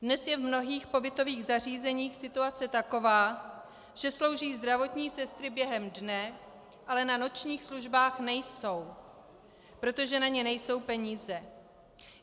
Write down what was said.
Dnes je v mnohých pobytových zařízeních situace taková, že slouží zdravotní sestry během dne, ale na nočních službách nejsou, protože na ně nejsou peníze.